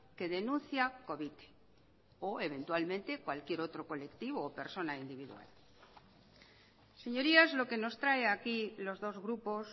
que denuncia covite o eventualmente cualquier otro colectivo o persona individual señorías lo que nos trae aquí los dos grupos